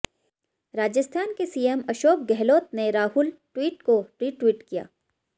राजस्थान के सीएम अशोक गहलोत ने राहुल ट्वीट को रीट्वीट किया